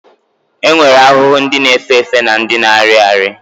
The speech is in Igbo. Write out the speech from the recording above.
E nwere ahụhụ ndị na-efe efe na ndị na-arị arị